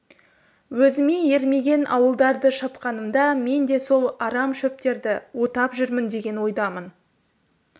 өзіме ермеген ауылдарды шапқанымда мен де сол арам шөптерді отап жүрмін деген ойдамын